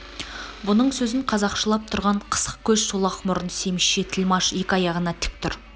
бұның сөзін қазақшылап тұрған қысық көз шолақ мұрын семізше тілмаш екі аяғынан тік тұр